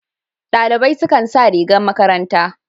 Dalibai su kan sa rigar makaranta.